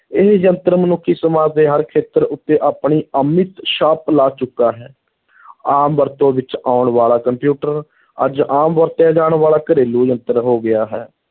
ਇਹ ਯੰਤਰ ਮਨੁੱਖੀ ਸਮਾਜ ਦੇ ਹਰ ਖੇਤਰ ਉੱਤੇ ਆਪਣੀ ਅਮਿਟ ਛਾਪ ਲਾ ਚੁੱਕਾ ਹੈ ਆਮ ਵਰਤੋਂ ਵਿੱਚ ਆਉਣ ਵਾਲਾ ਕੰਪਿਊਟਰ ਅੱਜ ਆਮ ਵਰਤਿਆ ਜਾਣ ਵਾਲਾ ਘਰੇਲੂ ਯੰਤਰ ਹੋ ਗਿਆ ਹੈ,